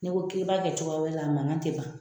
Ne ko ki ba kɛ cogoya wɛrɛ la, a mankan te ban.